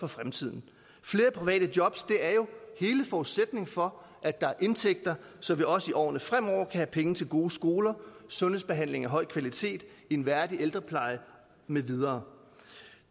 fremtiden flere private job er jo hele forudsætningen for at der er indtægter så vi også i årene fremover kan have penge til gode skoler sundhedsbehandling af høj kvalitet en værdig ældrepleje med videre